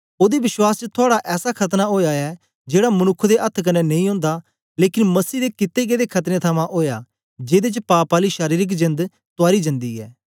ओदे विश्वास च थुआड़ा ऐसा खतना ओया ऐ जेड़ा मनुक्ख दे अथ्थ कन्ने नेई ओंदा लेकन मसीह दे कित्ते गेदे खतने थमां ओया जेदे च पाप आली शारीरिक जेंद तुआरी जन्दी ऐ